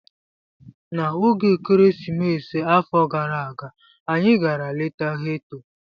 N'oge ekeresimesi afọ gara aga, anyị gara leta ghetto.